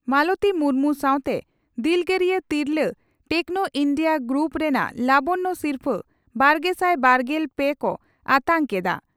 ᱢᱟᱞᱚᱛᱤ ᱢᱩᱨᱢᱩ ᱥᱟᱣᱛᱮ ᱫᱤᱞᱜᱟᱹᱨᱤᱭᱟᱹ ᱛᱤᱨᱞᱟᱹ ᱴᱮᱠᱱᱚ ᱤᱱᱰᱤᱭᱟᱹ ᱜᱨᱩᱯ ᱨᱮᱱᱟᱜ ᱞᱟᱵᱚᱱᱭᱚ ᱥᱤᱨᱯᱷᱟᱹᱼᱵᱟᱨᱜᱮᱥᱟᱭ ᱵᱟᱨᱜᱮᱞ ᱯᱮ ᱠᱚ ᱟᱛᱟᱝ ᱠᱮᱫᱼᱟ